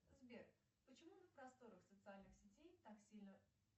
сбер почему на просторах социальных сетей так сильно